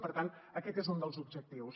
per tant aquest és un dels objectius